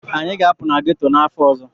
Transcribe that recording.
Anyị ga-apụ na ghetto n'afọ ọzọ.